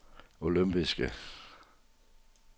olympiske